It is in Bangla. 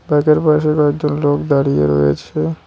পাশে কয়েকজন লোক দাঁড়িয়ে রয়েছে।